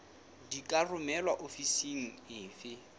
di ka romelwa ofising efe